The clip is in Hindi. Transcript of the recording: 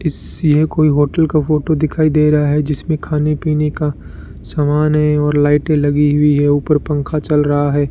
इससी है कोई होटल का फोटो दिखाई दे रहा है जिसमें खाने पीने का समान है और लाइटे लगी हुई है ऊपर पंखा चल रहा है।